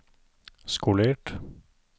skolert